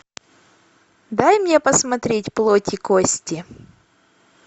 дай мне посмотреть плоть и кости